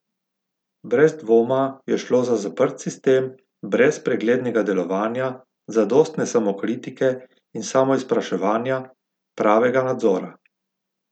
Brez dvoma je šlo za zaprt sistem brez preglednega delovanja, zadostne samokritike in samoizpraševanja, pravega nadzora.